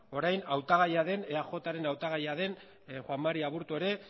orain hautagaia den eajren hautagaia den juan mari aburto ere